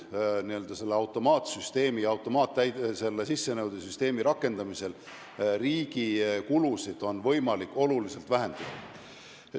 Automaatse sissenõude süsteemi rakendamisel on riigi kulusid võimalik oluliselt vähendada.